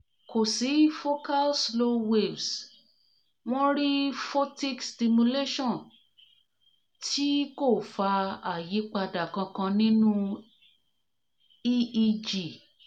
ko si focal ko si focal slow waves won ri photic stimulation ti ko fa ayipada kankan ninu eeg